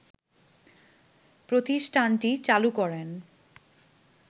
প্রতিষ্ঠানটি চালু করেন